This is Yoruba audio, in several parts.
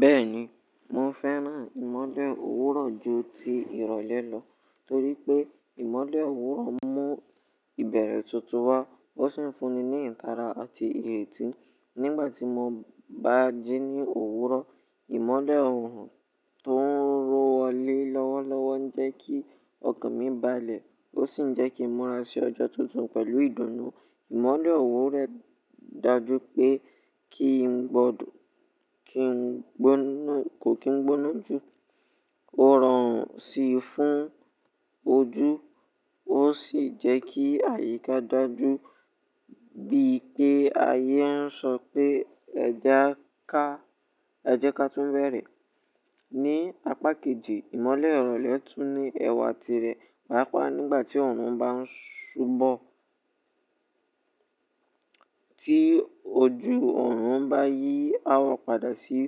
Bẹ́ẹ̀ni, mo fẹ́ràn ìmọ̀le òwúrọ̀ ju ti ìrọ̀lẹ́ lọ torí pé ìmọ̀le òwúrọ̀ mú ìbẹ̀rẹ̀ tuntun wá. Ó sì ń fún ni ní ìtara àti ìrètí nígbàtí mo bá jí ní òwúrọ̀. Ìmọ̀lè ọ̀orun tó ń rọ wọ́lé lọ́wọ́lọ́wọ́ ń jẹ́ kí ọkàn mi balẹ̀ ó sì ń jẹ́ kí n mura sí ọjọ́ tuntun pẹ̀lú ìdùnnú. Ìmọ̀le òwúrọ̀ dájú pé kí n gbọ́dọ̀ kó kí n gbóná jù. Ó rọrùn sí i fún ojú ó sì jẹ́ kí àyíká dájú bí i pé ayé ń sọ pé ẹ jẹ ká túbẹ̀rẹ̀. Ni apá kejì, ìmọ̀le ìrọ̀lẹ́ le tún ní ẹwà tirẹ̀ pàápàá nígbàtí ọ̀oru bá ń ṣubọ. Tí ojú ọ̀orun bá yí áwọ̀ padà sí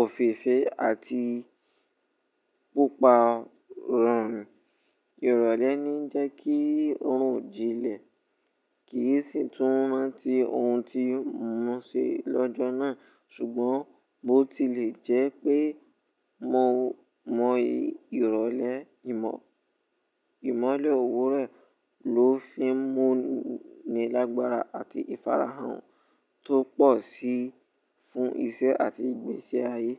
òféèfé àti pupa rọ̀rùn, ìrọ̀lẹ́ ní ń jẹ́ kí ọ̀orun o jìnlẹ̀ kì í sì tún rántí ohun tí yoo muwon se lọ́jọ́ náà. Ṣùgbọ́n bó ti lè jẹ́ pé mo mọ ìrọ̀lẹ́, ìmọ̀le òwúrọ̀ ló fi ń mú mi lágbára àti ìfarahàn tó pọ̀ sí i fún iṣẹ́ àti ìgbésẹ̀ ayé.